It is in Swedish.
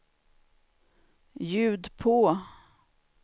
ljud på